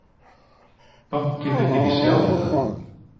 Bankinn vildi ekki sjá þetta